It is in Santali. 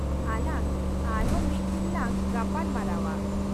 ᱟᱞᱟᱝ ᱟᱨᱦᱚᱸ ᱢᱤᱫ ᱫᱤᱱ ᱞᱟᱝ ᱜᱟᱯᱟᱞ ᱢᱟᱨᱟᱣᱼᱟ ᱾